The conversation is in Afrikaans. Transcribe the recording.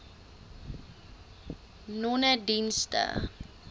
nonedienste